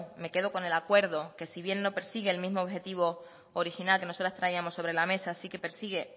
me quedo con el acuerdo que si bien no persigue el mismo objetivo original que nosotras traíamos sobre la mesa sí que persigue